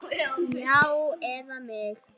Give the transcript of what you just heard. Já, eða mig?